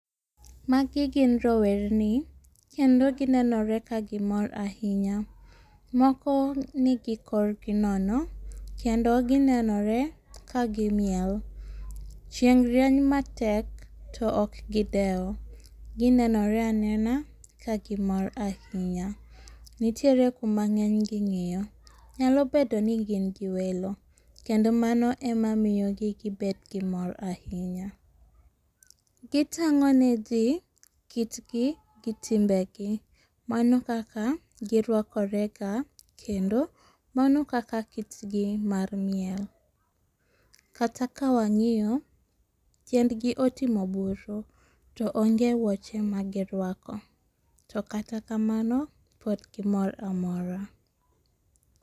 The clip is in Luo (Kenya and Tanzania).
Magi gin rowerni kendo ginenore ka gimor ahinya, moko nigi korgi nono kendo ginenore kagimiel, chieng' rieny matek to ok gidewo ginenore anena ka gimor ahinya, nitiere kuma ng'enygi ng'iyo, nyalo bedo ni gin gi welo kendo mano emamiyogi gibed gi mor ahinya. Gitang'o nigi kitgi gi timbegi, mano ekaka girwakorega kendo mano kaka kitgi mar miel, kata ka wang'iyo tiendgi otimo buru to onge wuoche magirwako to kata kamano pod gimor amora